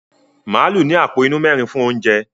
Màálù ní àpò inú mẹ́rin fún oúnjẹ.